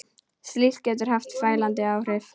Slíkt getur haft fælandi áhrif.